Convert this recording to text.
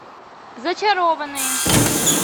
зачарованные